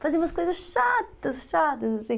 Fazíamos coisas chatas, chatas, assim.